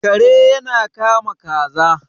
Kare ya kama kaza